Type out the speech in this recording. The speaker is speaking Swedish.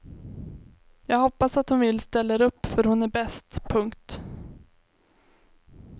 Jag hoppas att hon vill ställer upp för hon är bäst. punkt